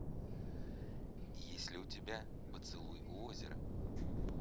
есть ли у тебя поцелуй у озера